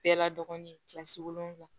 Bɛɛ ladonni kilasi wolonwula